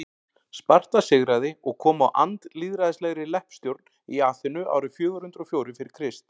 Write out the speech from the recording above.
sparta sigraði og kom á andlýðræðislegri leppstjórn í aþenu árið fjögur hundruð og fjórir fyrir krist